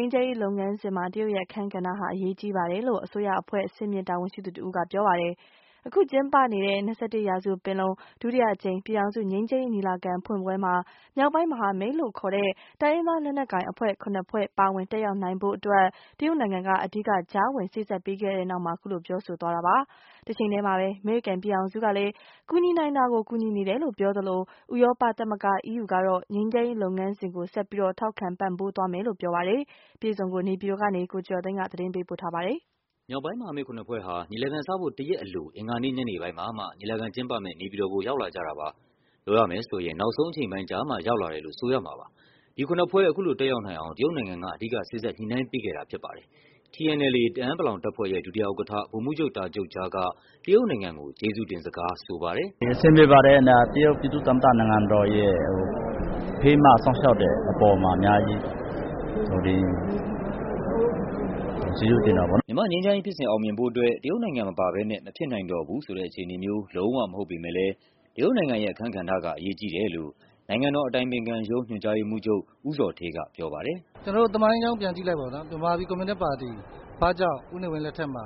မ်းရေးလုပ်ငန်းစဉ်မှာ တရုတ်ရဲ့ အခန်းကဏ္ဍဟာ အရေးကြီးပါတယ်လို့ အစိုးရအဖွဲ့ အဆင့်မြင့် တာဝန် ရှိသူတဦးက ပြောပါတယ်။ ကျင်းပနေတဲ့ ၂၁ ရာစုပင်လုံ၊ ဒုတိယအကြိမ် ပြည်ထောင်စုငြိမ်းချမ်းရေးညီလာခံဖွင့်ပွဲမှာ မြောက်ပိုင်း မဟာမိတ်လို့ခေါ်တဲ့ တိုင်းရင်းသားလက်နက်ကိုင်အဖွဲ့ ၇ ဖွဲ့ ပါဝင်တက်ရောက်နိုင်ဖို့အတွက် တရုတ်နိုင်ငံက အဓိက ကြားဝင် စေ့စပ်ပေးခဲ့ပြီးတဲ့နောက် အခုလို ပြောဆိုတာပါ။ တချိန်ထဲမှာပဲ အမေရိကန်ပြည်ထောင်စုက ကူညီနိုင်တာကို ကူညီနေတယ်လို့ ပြောသလို ဥရောပသမဂ္ဂ EU ကတော့ ငြိမ်းချမ်းရေးလုပ်ငန်းစဉ်ကို ဆက်ပြီး ထောက်ခံပံ့ပိုးသွားမယ်လို့ပြောပါတယ်။ အပြည့်အစုံ ကို နေပြည်တော်ကနေ ကိုကျော်ကျော်သိန်းက သတင်းပေးပို့ထားပါတယ်။ မြောက်ပိုင်းမဟာမိတ် ၇ ဖွဲ့ဟာ ညီလာခံစဖို့ တရက်အလို အင်္ဂါနေ့ညနေပိုင်းမှာမှ ညီလာခံကျင်းပမယ့် နေပြည်တော်ကို ရောက် လာကြတာပါ။ ပြောရမယ်ဆိုရင် နောက်ဆုံးအချိန်ပိုင်းကျမှ ရောက်လာတယ်လို့ ဆိုရမှာပါ။ ဒီ ၇ ဖွဲ့ အခုလိုတက်ရောက်နိုင်အောင် တရုတ်နိုင်ငံက အဓိက စေ့စပ် ညှိနှိုင်းပေးခဲ့တာဖြစ်ပါတယ်။ TNLA တအာင်း ပလောင်တပ်ဖွဲ့ရဲ့ ဒုတိယဥက္ကဌ၊ ဗိုလ်မှူးချုပ် တာဂျူတ်ဂျားက တရုတ်နိုင်ငံကို ကျေးဇူးတင်စကားဆိုပါတယ်။ “အဆင်ပြေပါတယ် တရုတ်ပြည်သူ့သမ္မတနိုင်ငံတော်ရဲ့ ဖေးမစောင့်ရှောက်တဲ့အပေါ်မှာ အများကြီးကျေးဇူးတင်ပါတယ် ပေါ့နော်။” မြန်မာ့ငြိမ်းချမ်းရေးဖြစ်စဉ် အောင်မြင်ဖို့အတွက် တရုတ်နိုင်ငံမပါဘဲနဲ့ မဖြစ်နိုင်တော့ဘူးဆိုတဲ့အခြေအနေမျိုး လုံးဝမဟုတ်ပေမဲ့လဲ တရုတ်နိုင်ငံရဲ့အခန်းကဏ္ဍက အရေးကြီးတယ်လို့ နိုင်ငံတော်အတိုင်ပင်ခံရုံး၊ ညွှန်ကြားရေးမှူးချုပ် ဦးဇော်ဌေးက ပြောပါတယ်။ “ကျနော်တို့သမိုင်းကြောင်းပြန်ကြည့်လိုက်ပေါ့နော် မြန်မာပြည်ကွန်မြူနစ်ပါတီ ဘာကြောင့် ဦးနေဝင်းလက်ထက်မှာ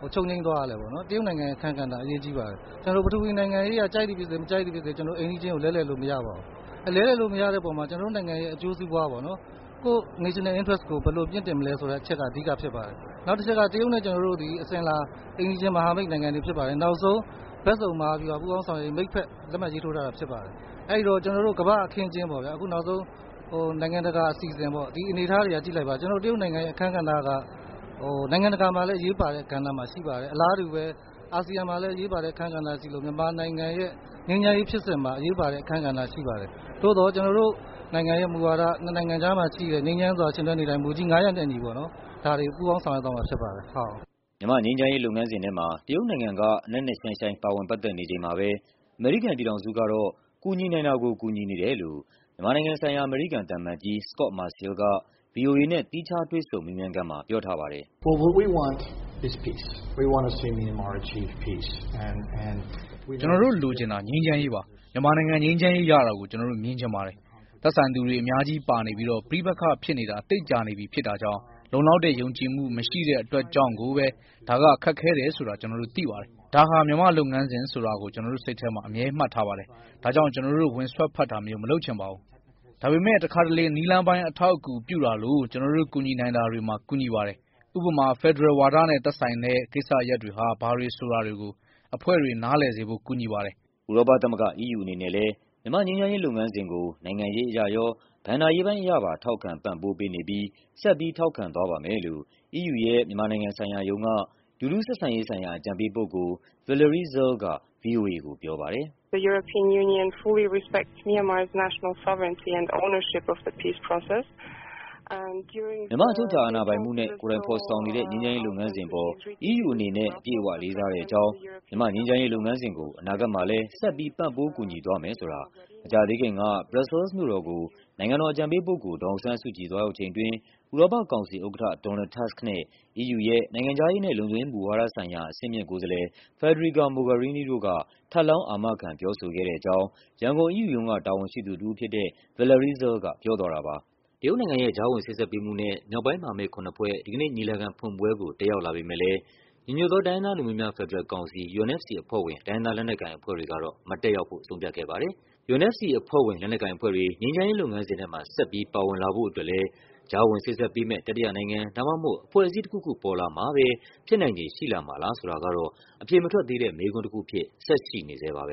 ဘာကြောင့်ချုပ်ငြိမ်းသွားရသလဲပေါ့နော်။ တရုတ်နိုင်ငံရဲ့အခန်းကဏ္ဍက အရေးကြီးပါတယ်။ ကျနော်တို့ ပထဝီနိုင်ငံရေးအရ ကြိုက်သည်ဖြစ်စေ၊ မကြိုက်သည်ဖြစ်စေ ကျနော်တို့ အိမ်နီးချင်းကို လဲလှယ်လို့မရပါဘူး။ လဲလှယ်လို့မရတဲ့အပေါ်မှာ ကျနော်တို့နိုင်ငံရဲ့အကျိုးစီးပွားပေါ့နော် National Interest ကိုဘယ်လိုမြင့်တင်မလဲဆိုတဲ့အချက်က အဓိက ဖြစ်ပါတယ်။ နောက်တချက်က တရုတ်နဲ့ ကျနော်တို့သည် အစဉ်အလာ အိမ်နီးချင်းမဟာမိတ်နိုင်ငံတွေဖြစ်ပါတယ်။ နောက်ဆုံးဘက်စုံ မဟာဗျူဟာပူးပေါင်းဆောင်ရွက်ရေးမိတ်ဖက် လက်မှတ်ရေးထိုးထားတာဖြစ်ပါတယ်။ အဲဒီတော့ကျနော်တို့ ကမ္ဘာ့အခင်းအကျင်းပေါ့ဗျာ နောက်ဆုံးနိုင်ငံတကာ အစီအစဉ်ပေ့ါ ဒီအနေအထားတွေက ကြည့်လိုက်ပါ တရုတ်နိုင်ငံရဲ့ အခန်းကဏ္ဍက နိုင်ငံတကာမှာလည်း အရေးပါတဲ့ကဏ္ဍမှာရှိပါတယ်။ အလားတူပဲ အာဆီယံမှာလည်း အရေးပါတဲ့ကဏ္ဍရှိသလို မြန်မာနိုင်ငံရဲ့ ငြိမ်းချမ်းရေးဖြစ်စဉ်မှာ အရေးပါတဲ့အခန်းကဏ္ဍရှိပါတယ်။ သို့သော် ကျနော်တို့ နိုင်ငံရဲ့မူဝါဒ ၂ နိုင်ငံကြားမှာရှိတဲ့ ငြိမ်းချမ်းစွာ ယှဉ်တွဲနေထိုင်မှု မူကြီး ၅ ရပ်နဲ့အတူ ဒါတွေကို ပူးပေါင်းဆောင်ရွက်သွားမှာဖြစ်ပါတယ်။” မြန်မာ့ငြိမ်းချမ်းရေးလုပ်ငန်းစဉ်ထဲမှာ တရုတ်နိုင်ငံက နက်နက်ရှိုင်းရှိုင်း ပါဝင်ပတ်သက်နေချိန်မှာပဲ အမေရိကန်ပြည်ထောင်စုက တော့ ကူညီနိုင်တာကို ကူညီနေတယ်လို့ မြန်မာနိုင်ငံဆိုင်ရာ အမေရိကန်သံအမတ်ကြီး Scot Marciel က ဗွီအိုအေနဲ့ သီးခြား တွေ့ဆုံမေးမြန်းခန်းမှာ ပြောထားပါတယ်။ “ကျနော်တို့ လိုချင်တာ ငြိမ်းချမ်းရေးပါ။ မြန်မာနိုင်ငံ ငြိမ်းချမ်းရေးရတာကို ကျနော်တို့ မြင်ချင်ပါတယ်။ သက်ဆိုင်သူတွေ အများ ကြီးပါနေပြီးတော့ ပဋိပက္ခ ဖြစ်နေတာ သိပ်ကြာနေပြီ ဖြစ်တာကြောင့် လုံလောက်တဲ့ ယုံကြည်မှု မရှိတဲ့အတွက်ကြောင့်ကိုပဲ ဒါက ခက်ခဲတယ်ဆိုတာ ကျနော်တို့ သိပါတယ်။ ဒါဟာ မြန်မာ့လုပ်ငန်းစဉ်ဆိုတာကို ကျနော်တို့ စိတ်ထဲမှာ အမြဲမှတ်ထားပါတယ်။ ဒါကြောင့် ကျနော်တို့ ဝင်စွက်ဖက်တာမျိုး မလုပ်ချင်ပါဘူး။ ဒါပေမဲ့ တခါတလေ နည်းလမ်းပိုင်း အထောက်အကူပြုတာလို ကျနော်တို့ ကူညီနိုင်တာတွေကို ကူညီပါတယ်။ ဥပမာ ဖယ်ဒရယ်ဝါဒနဲ့ သက်ဆိုင်တဲ့ကိစ္စရပ်တွေဟာ ဘာတွေဆိုတာတွေကို အဖွဲ့တွေ နားလည်စေဖို့ ကူညီပါတယ်။” ဥရောပသမဂ္ဂ EU အနေနဲ့လဲမြန်မာ့ငြိမ်းချမ်းရေးလုပ်ငန်းစဉ်ကို နိုင်ငံရေးအရရော၊ ဘဏ္ဍာရေးပိုင်းအရပါ ထောက်ခံပံ့ပိုးပေးနေပြီး ဆက်ပြီး ထောက်ခံသွားပါမယ်လို့ EU ရဲ့ မြန်မာနိုင်ငံဆိုင်ရာရုံးက လူထုဆက်ဆံရေးဆိုင်ရာ အကြံပေးပုဂ္ဂိုလ် Valerie Zir က ဗွီအိုအေကိုပြောပါတယ်။ “မြန်မာ့ အချုပ်အခြာအာဏာပိုင်မှုနဲ့ ကိုယ်တိုင်ဖော်ဆောင်နေတဲ့ ငြိမ်းချမ်းရေးလုပ်ငန်းစဉ်အပေါ် EU အနေနဲ့အပြည့်အ၀ လေးစားတဲ့အကြောင်း၊ မြန်မာ့ငြိမ်းချမ်းရေးလုပ်ငန်းစဉ်ကို အနာဂတ်မှာလဲ ဆက်ပြီး ပံ့ပိုးကူညီသွားမယ်ဆိုတာ မကြာသေးခင်က ဘရပ်ဆဲလ်စ်မြို့တော်ကို နိုင်ငံတော်အကြံပေးပုဂ္ဂိုလ် ဒေါ်အောင်ဆန်းစုကြည် သွားရောက်ချိန်အတွင်း ဥရောပကောင်စီဥက္ကဌ Donald Tusk နဲ့ EU ရဲ့ နိုင်ငံခြားရေးနဲ့ လုံခြုံရေးမူဝါဒဆိုင်ရာ အဆင့်မြင့်ကိုယ်စားလှယ် Federica Mogherini က ထပ်လောင်း အာမခံပြောဆိုခဲ့တဲ့အကြောင်း” ရန်ကုန် EU ရုံးက တာဝန်ရှိသူတဦးဖြစ်တဲ့ Valerie Zirl က ပြောသွားတာပါ။ တရုတ်နိုင်ငံရဲ့ ကြားဝင်စေ့စပ်ညှိနှိုင်းမှုနဲ့ မြောက်ပိုင်းမဟာမိတ် ၇ ဖွဲ့ ဒီကနေ့ညီလာခံဖွင့်ပွဲကို တက်ရောက်လာပေမဲ့လဲ ညီညွတ် သောတိုင်းရင်းသားလူမျိုးများ ဖက်ဒရယ်ကောင်စီ UNFC အဖွဲ့ဝင် တိုင်းရင်းသားလက်နက်ကိုင်အဖွဲ့တွေကတော့ မတက်ရောက်ဖို့ ဆုံးဖြတ်ခဲ့ပါတယ်။ UNFC အဖွဲ့ဝင် လက်နက်ကိုင်အဖွဲ့တွေ ငြိမ်းချမ်းရေးလုပ်ငန်းစဉ်ထဲမှာ ဆက်ပြီး ပါဝင်လာဖို့အတွက်လဲ ကြားဝင်စေ့စပ်ပေးမယ့် တတိယနိုင်ငံ ဒါမှမဟုတ် အဖွဲ့အစည်းတခုခုပေါ်လာမှပဲ ဖြစ်နိုင်ခြေရှိလာမှာလားဆိုတာကတော့ အဖြေ မထွက်သေးတဲ့ မေးခွန်းတခုအဖြစ် ဆက်ရှိနေဆဲပါပဲ